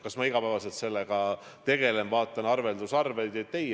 Kas ma igapäevaselt sellega tegelen, vaatan arvelduskontosid?